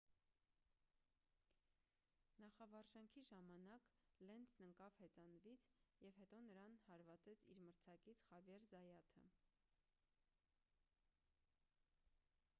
նախավարժանքի ժամանակ լենցն ընկավ հեծանվից և հետո նրան հարվածեց իր մրցակից խավիեր զայաթը